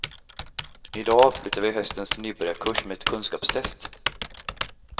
I dag avslutar vi höstens nybörjarkurs med ett kunskapstest.